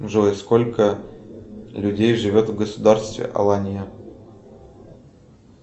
джой сколько людей живет в государстве алания